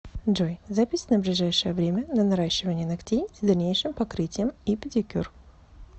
джой запись на ближайшее время на наращивание ногтей с дальнейшим покрытием и педикюр